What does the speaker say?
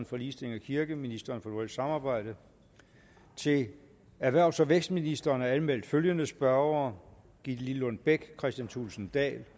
for ligestilling og kirke ministeren for nordisk samarbejde til erhvervs og vækstministeren er anmeldt følgende spørgere gitte lillelund bech kristian thulesen dahl